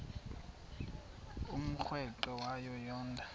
umrweqe wayo yoonda